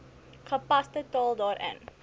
gepaste taal daarin